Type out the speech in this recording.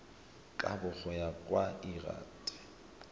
kabo go ya ka lrad